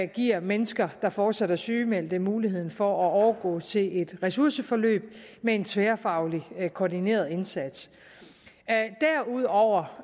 giver mennesker der fortsat er sygemeldte muligheden for at overgå til et ressourceforløb med en tværfaglig koordineret indsats derudover